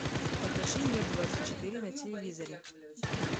покажи мир двадцать четыре на телевизоре